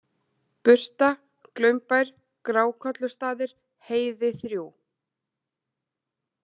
Butra, Glaumbær, Grákollustaðir, Heiði III